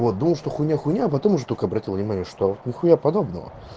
вот думал что хуйня хуйня а потом уже только обратил внимание что нехуя подобного